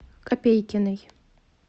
копейкиной